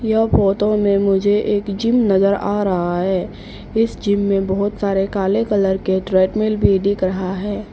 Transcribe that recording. यह फोटो में मुझे एक जिम नजर आ रहा है इस जिम में बहोत सारे काले कलर के ट्रेडमिल भी दिख रहा है।